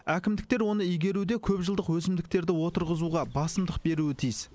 әкімдіктер оны игеруде көпжылдық өсімдіктерді отырғызуға басымдық беруі тиіс